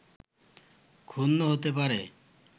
ক্ষুণ্ন হতে পারে